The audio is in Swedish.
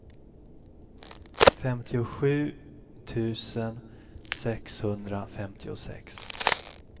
femtiosju tusen sexhundrafemtiosex